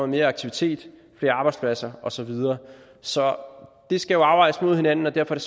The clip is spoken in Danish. mere aktivitet flere arbejdspladser og så videre så det skal jo afvejes mod hinanden og derfor er